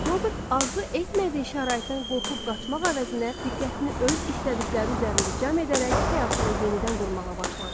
Robert arzu etmədiyi şəraitdən qorxub qaçmaq əvəzinə, diqqətini öz istədikləri üzərində cəm edərək həyatını yenidən qurmağa başladı.